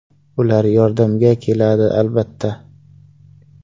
Ular yordamga keladi albatta.